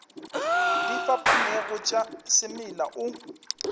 di fapanego tša semela o